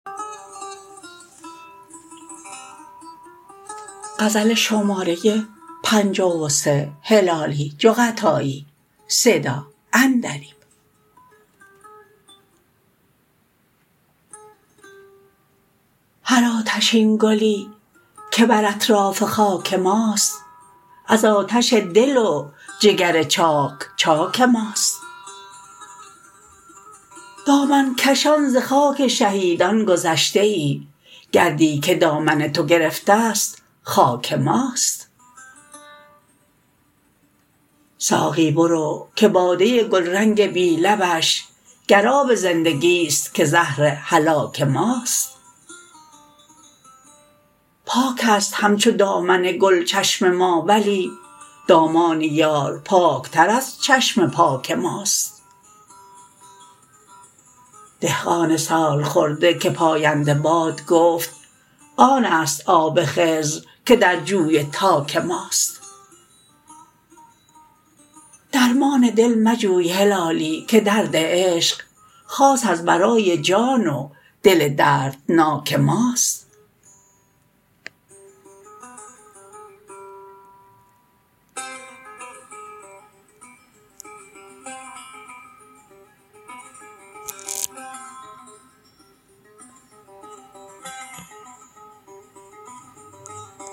هر آتشین گلی که بر اطراف خاک ماست از آتش دل و جگر چاک چاک ماست دامن کشان ز خاک شهیدان گذشته ای گردی که دامن تو گرفتست خاک ماست ساقی برو که باده گل رنگ بی لبش گر آب زندگیست که زهر هلاک ماست پاکست همچو دامن گل چشم ما ولی دامان یار پاک تر از چشم پاک ماست دهقان سالخورده که پاینده باد گفت آنست آب خضر که در جوی تاک ماست درمان دل مجوی هلالی که درد عشق خاص از برای جان و دل دردناک ماست